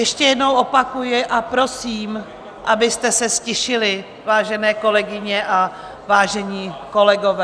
Ještě jednou opakuji a prosím, abyste se ztišili, vážené kolegyně a vážení kolegové!